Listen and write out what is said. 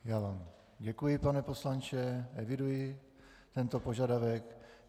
Já vám děkuji, pane poslanče, eviduji tento požadavek.